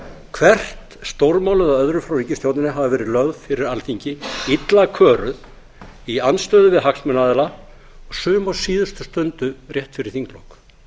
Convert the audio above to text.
hvert stórmálið af öðru frá ríkisstjórninni hafa verið lögð fyrir alþingi illa kæru í andstöðu við hagsmunaaðila og sum á síðustu stundu rétt fyrir þinglok